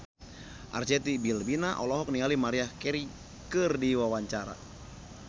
Arzetti Bilbina olohok ningali Maria Carey keur diwawancara